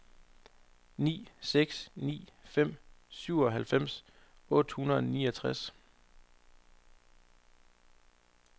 ni seks ni fem syvoghalvfems otte hundrede og niogtres